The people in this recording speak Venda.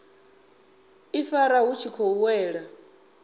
ifara vhu tshi khou wela